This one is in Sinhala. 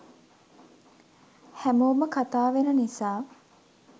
හැමෝම කතා වෙන නිසා